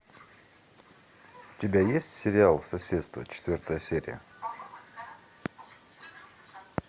у тебя есть сериал соседство четвертая серия